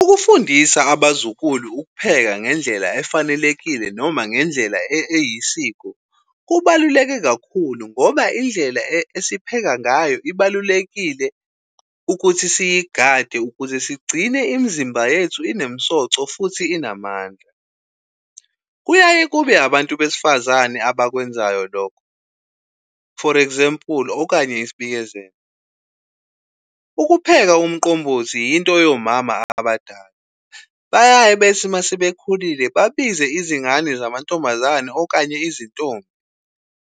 Ukufundisa abazukulu ukupheka ngendlela efanelekile noma ngendlela eyisiko kubaluleke kakhulu ngoba indlela esipheka ngayo ibalulekile ukuthi siyigade ukuze sigcine imizimba yethu inemsoco futhi inamandla. Kuyaye kube abantu besifazane abakwenzayo lokho, for example okanye isibikezelo, ukupheka umqombothi yinto yomama abadala, bayaye bethi uma sebekhulile babize izingane zamantombazane okanye izintombi,